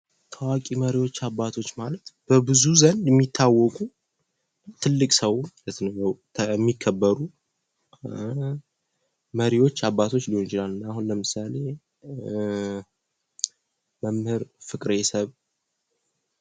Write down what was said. ታዋቂ መሪዎች እና አባቶች ማለት በብዙ ዘንድ የሚታወቁ ትልቅ ሰው ከዚሀው የሚከበሩ መሪዎች ሊሆኑ ይችላሉ። ለምሳሌ መምህር ፍቅረ - ሰብዕ።